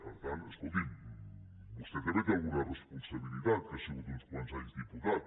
per tant escolti’m vostè també hi té alguna responsabilitat que ha sigut uns quants anys diputat